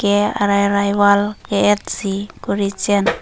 ke arairai wall ke et si kori chen.